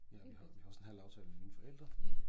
Ja og vi har vi har også en halv aftale med mine forældre